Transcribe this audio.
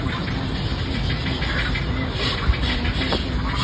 अइसे लागत हे की एक्सीडेंट करिसे या फिर खट्टरा टाइप से होईगी।